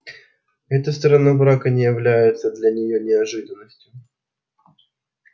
эта сторона брака не является для неё неожиданностью